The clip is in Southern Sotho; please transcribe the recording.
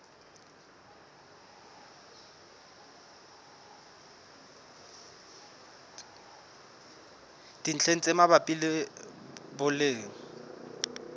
dintlheng tse mabapi le boleng